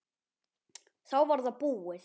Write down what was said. Þá var það búið.